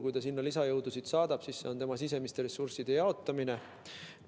Kui ta sinna lisajõudusid saadab, siis see on tema sisemiste ressursside jaotamine.